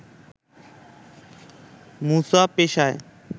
মুসা পেশায়